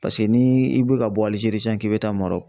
Paseke ni i bi ka bɔ Alijeri sisan k'i bi taa Marɔku